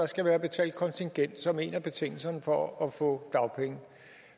skal være betalt kontingent som en af betingelserne for at få dagpenge